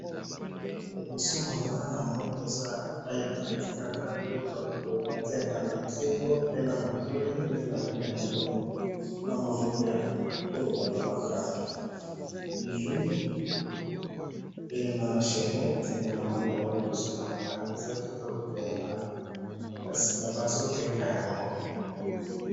liboso nanga eza epayi batekaka biloko batiyaka na kingo pe na matoyi nde namoni yango na munoko ya poto balobaka bijou pe na chenette eza kitoko penza bazo teka yango.